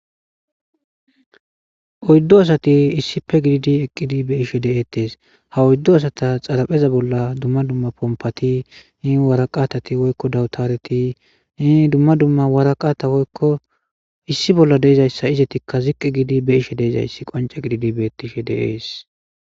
Oyddo asati issipe gididi eqqidi be ishe deeettes ha oyddo asata xarapheza bolla dumma dumma pompati i waraqatati woykko dawutareti ii dumma dumma waraqata woykko issi bolla deezayssa izetikka ziqqi giidi be ishe deezayssi qonce gididi beettishe deees.